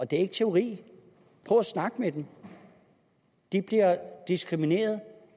det er ikke teori prøv at snakke med dem de bliver diskrimineret